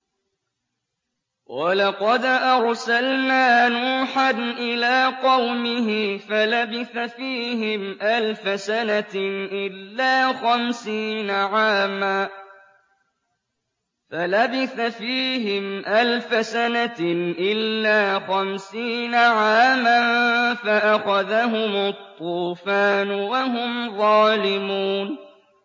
وَلَقَدْ أَرْسَلْنَا نُوحًا إِلَىٰ قَوْمِهِ فَلَبِثَ فِيهِمْ أَلْفَ سَنَةٍ إِلَّا خَمْسِينَ عَامًا فَأَخَذَهُمُ الطُّوفَانُ وَهُمْ ظَالِمُونَ